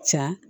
Ca